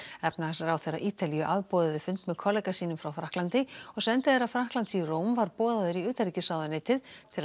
efnahagsráðherra Ítalíu afboðaði fund með kollega sínum frá Frakklandi og sendiherra Frakklands í Róm var boðaður í utanríkisráðuneytið til